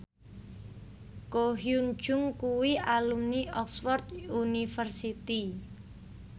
Ko Hyun Jung kuwi alumni Oxford university